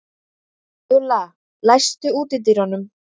Júlla, læstu útidyrunum.